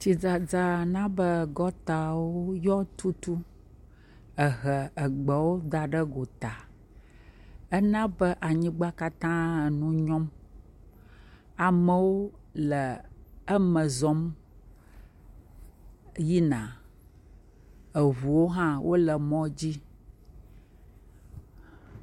Tsidzadza na be gɔtawo tutu ehe gbewo da ɖe gɔta. Ena be anyigba katã le ŋunyɔm. Amewo le eme zɔm yina. Ŋuwo hã wole mɔa dzi.